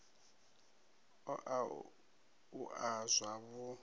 o a u a zwavhu